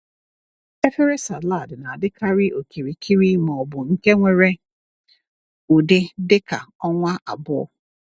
Efere salad na-adịkarị okirikiri ma ọ bụ nke nwere ụdị dịka ọnwa abụọ.